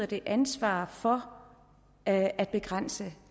det ansvar for at at begrænse